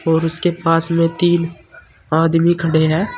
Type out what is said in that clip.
और उसके पास में तीन आदमी खड़े हैं।